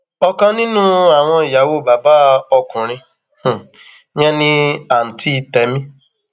ọkan nínú àwọn ìyàwó bàbá ọkùnrin um yẹn ni àǹtí tẹmí um